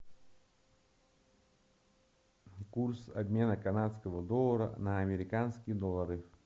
курс обмена канадского доллара на американские доллары